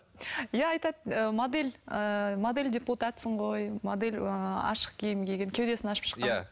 иә айтады ыыы модель ыыы модель депутатсың ғой модель ыыы ашық киім киген кеудесін ашып шыққан иә